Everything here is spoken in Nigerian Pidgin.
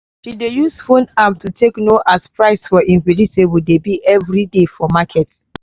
she dey use phone app to take know as price for im vegetable dey be everyday for market.